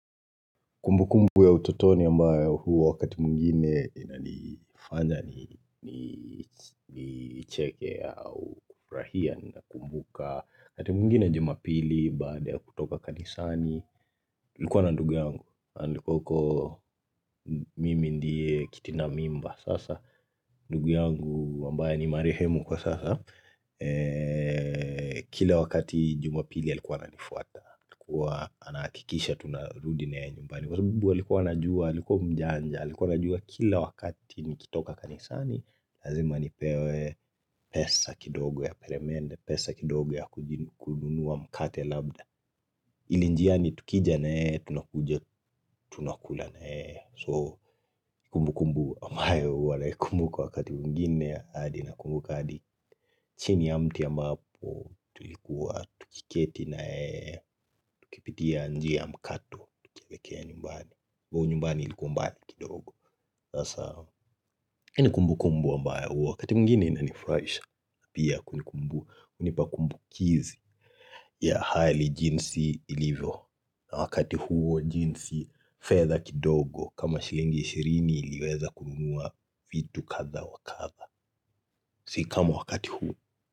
Kumbu kumbu ya utotoni ambayo huwa wakati mwingine inanifanya ni ni. Ni cheke au kufurahia nina kumbuka wakati mungine jumapili baada ya kutoka kanisani nilikuwa na ndugu yangu alikua uko, mimi ndiye kitinda mimba sasa. Ndugu yangu ambaye ni marehemu kwa sasa. Kila wakati jumapili alikuwa ananifuata alikuwa anakikisha tunarudi na yeye nyumbani. Kwa sababu alikuwa anajua, alikuwa mjanja, alikuwa najua kila wakati nikitoka kanisani Lazima nipewe pesa kidogo ya peremende, pesa kidogo ya kujin kununua mkate labda ili njiani tukija na yeye, tunakuja, tunakula na yeye. So kumbu kumbu ambayo huwa naikumbuka wakati mungine hadi na kumbuka hadi chini ya mti ya ambapo tulikuwa, tukiketi na yeye, tukipitia njia ya mkato, tukilekea nyumbani. Vuhu nyumbani ilikuwa mbali kidogo Sasa hii ni kumbu kumbu ambayo huwa Wakati mungine inanifurahisha. Pia kunikumbu nipakumbukizi ya hali jinsi ilivyo, na wakati huo jinsi fedha kidogo kama shilingi ishirini iliweza kununua vitu katha wakatha Sikama wakati huu.